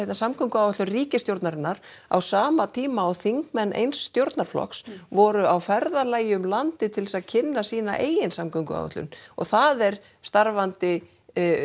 samgönguáætlun ríkisstjórnarinnar á sama tíma og þingmenn eins stjórnarflokks voru á ferðalagi um landið til þess að kynna sína eigin samgönguáætlun og það er starfandi